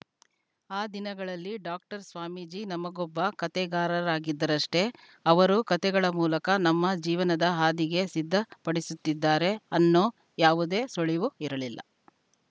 ಆ ದಿನಗಳಲ್ಲಿ ಡಾಕ್ಟರ್‌ ಸ್ವಾಮೀಜಿ ನಮಗೊಬ್ಬ ಕಥೆಗಾರರಾಗಿದ್ದರಷ್ಟೆ ಅವರು ಕಥೆಗಳ ಮೂಲಕ ನಮ್ಮ ಜೀವನದ ಹಾದಿಗೆ ಸಿದ್ದ ಪಡಿಸುತ್ತಿದ್ದಾರೆ ಅನ್ನೋ ಯಾವುದೇ ಸುಳಿವು ಇರಲಿಲ್ಲ